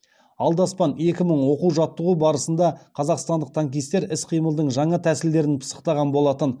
алдаспан екі мың оқу жаттығу барысында қазақстандық танкистер іс қимылдың жаңа тәсілдерін пысықтаған болатын